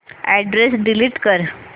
address delete कर